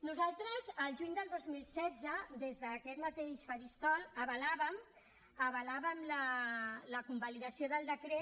nosaltres al juny del dos mil setze des d’aquest mateix faristol avalàvem la convalidació del decret